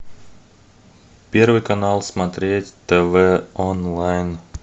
первый канал смотреть тв онлайн